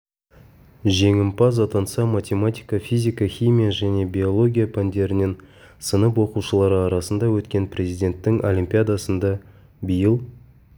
жеңімпаз атанса математика физика химия және биология пәндерінен сынып оқушылары арасында өткен президенттің олимпиадасында биыл